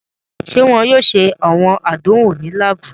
Ṣe wọn yoo ṣe awọn àdánwò ni laabu?